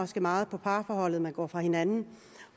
så meget på parforholdet at man går fra hinanden